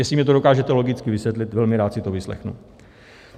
Jestli mně to dokážete logicky vysvětlit, velmi rád si to vyslechnu.